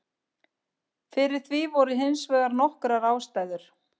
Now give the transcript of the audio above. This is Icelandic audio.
Fyrir því voru hins vegar nokkrar ástæður.